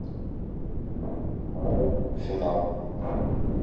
фильм марвел финал